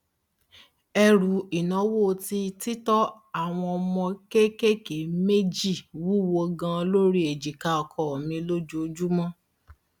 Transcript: ẹrù ìnáwó ti títọ àwọn ọmọ kéékèèké méjì wúwò gan lórí ejìká ọkọ mi lójoojúmọ